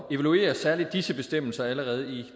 evaluere særlig disse bestemmelser allerede